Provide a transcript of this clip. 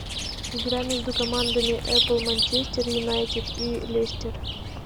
игра между командами апл манчестер юнайтед и лестер